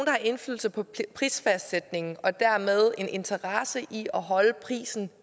har indflydelse på prisfastsættelsen og dermed har interesse i at holde prisen